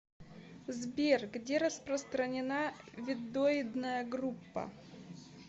сбер где распространена веддоидная группа